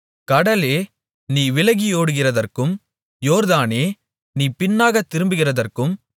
கடலே நீ விலகியோடுகிறதற்கும் யோர்தானே நீ பின்னாக திரும்புகிறதற்கும்